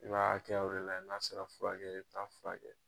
I b'a hakɛyaw de layɛ n'a sera furakɛ ye i bi taa'a furakɛ.